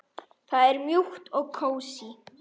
Það er mjúkt og kósí.